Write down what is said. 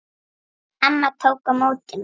Amma tók á móti mér.